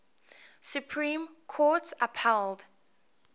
supreme court upheld